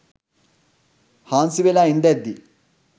හාන්සි වෙලා ඉන්දැද්දි